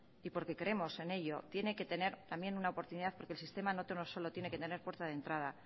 y porque creemos en ello tienen que tener también una oportunidad porque el sistema no solo tiene que tener puerta de entrada